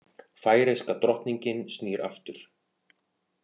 Færeyska drottningin snýr aftur